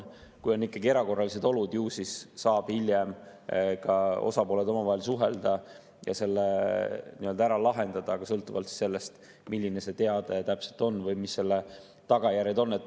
Kui on erakorralised olud, ju siis saavad osapooled hiljem ka omavahel suhelda ja selle ära lahendada sõltuvalt sellest, milline see teade täpselt on või mis selle tagajärjed on.